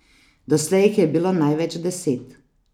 Doslej jih je bilo največ deset.